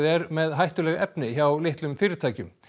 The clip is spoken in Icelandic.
með hættuleg efni hjá litlum fyrirtækjum